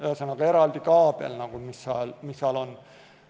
Ühesõnaga, eraldi kaabel, mis seal on.